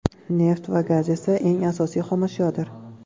Neft va gaz esa eng asosiy xomashyodir.